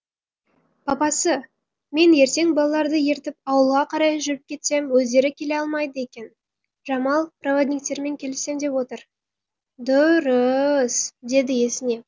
папасы мен ертең балаларды ертіп ауылға қарай жүріп кетсем өздері келе алмайды екен жамал проводниктермен келісем деп отыр дұр ры ыс деді есінеп